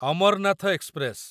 Amarnath express